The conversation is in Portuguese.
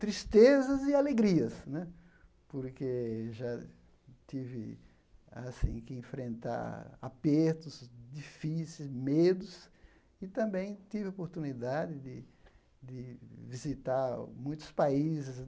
Tristezas e alegrias né, porque já tive assim que enfrentar apertos difíceis, medos, e também tive a oportunidade de de visitar muitos países.